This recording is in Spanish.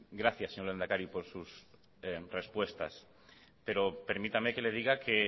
gracias señor lehendakari por sus respuestas pero permítame que le diga que